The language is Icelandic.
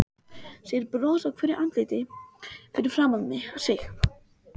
Sér bros á hverju andliti fyrir framan sig.